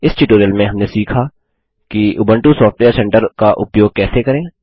इस ट्यूटोरियल में हमने सीखा कि उबंटू सॉफ्टवेयर सेंटर का उपयोग कैसे करें